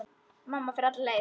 Mamma fer alla leið.